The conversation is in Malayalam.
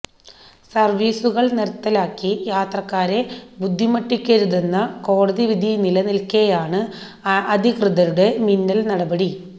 സര്വ്വീസുകള് നിര്ത്തലാക്കി യാത്രക്കാരെ ബുദ്ധിമുട്ടിക്കരുതെന്ന കോടതിവിധി നിലനില്ക്കെയാണ് അധികൃതരുടെ മിന്നല് നടപടി